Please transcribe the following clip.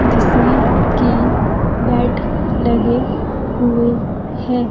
जिसमें कि बेड लगे हुए हैं।